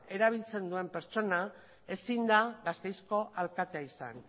erabiltzen duen pertsona ezin da gasteizko alkatea izan